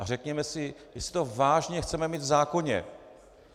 A řekněme si, jestli to vážně chceme mít v zákoně.